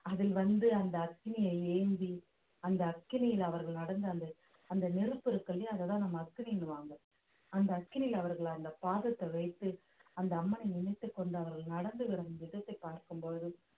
அதில் வந்து அந்த அக்னியை ஏந்தி அந்த அக்னியில் அவர்கள் நடந்த அந்த அந்த நெருப்பு இருக்கு இல்லையா அதைத்தான் நம்ம அக்னின்னுவாங்க அந்த அக்னியில அவர்களை அந்த பாதத்தை வைத்து அந்த அம்மனை நினைத்துக் கொண்டு அவர்கள் நடந்து வரும் விதத்தை பார்க்கும் பொழுது